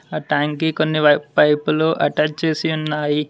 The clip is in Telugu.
ఆ టైం కి కొన్ని పైపులు అటాచ్ చేసి ఉన్నాయి.